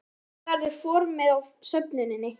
En hvernig verður formið á söfnuninni?